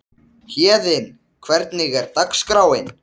Kringum hljómana sveimar svo gítarinn eins og nærsýnn fugl.